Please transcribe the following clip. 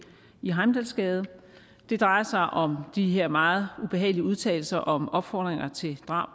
i heimdalsgade det drejer sig om de her meget ubehagelige udtalelser om opfordringer til drab